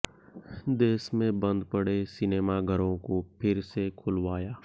देश में बंद पड़े सिनेमा घरों को फिर से खुलवाया